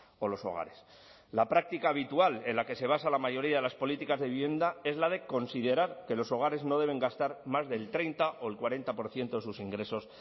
o los hogares la práctica habitual en la que se basa la mayoría de las políticas de vivienda es la de considerar que los hogares no deben gastar más del treinta o el cuarenta por ciento de sus ingresos